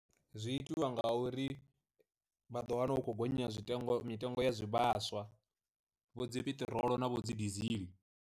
Zwi itiwa nga uri, vha ḓo wana u khou gonya zwitengo mitengo ya zwivhaswa, vho dzi piṱirolo na vho dzi desiel.